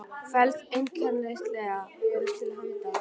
felst einnig kærleikur Guðs þér til handa.